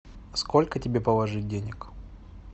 сколько тебе положить денег